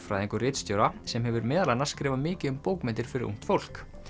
bókmenntafræðing og ritstjóra sem hefur meðal annars skrifað mikið um bókmenntir fyrir ungt fólk